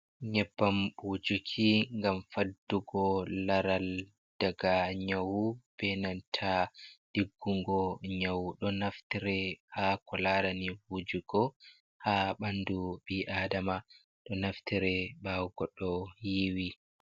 Nyebbam wujuki ngam faddugo laral daga nyawu, benanta ɗiggugo nyawu. Ɗo naftire ha ko larani wujugo ha ɓandu ɓi adama. Ɗo naftire ɓawo goɗɗo yiiwi.